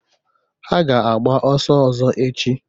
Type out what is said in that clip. Ha ga-agba ọsọ ọzọ echi.